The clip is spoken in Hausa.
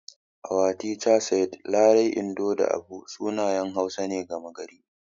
Our teacher said Larai, Indo da Abu sunayen Hausa ne gama gari.